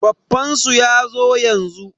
Baffansu yazo yanzu.